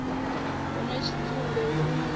hu na tshidzumbe hu na